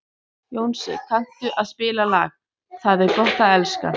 Jónsi, kanntu að spila lagið „Tað er gott at elska“?